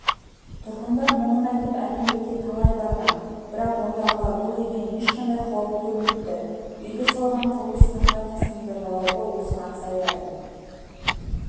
тұрғындар мұңын айтып әкімдікке талай барған бірақ ондағылар бұл үйден ешқандай қауіп көрмепті үйді салған кұрылыс компаниясының да жауабы осыған саяды